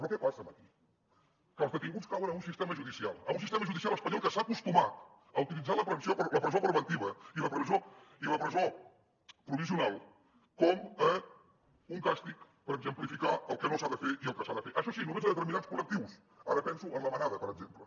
però què passa aquí que els detinguts cauen en un sistema judicial en un sistema judicial espanyol que s’ha acostumat a utilitzar la presó preventiva i la presó provisional com a un càstig per exemplificar el que no s’ha de fer i el que s’ha de fer això sí només a determinats col·lectius ara penso en la manada per exemple